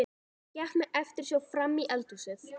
Hann gekk með eftirsjá frammí eldhúsið.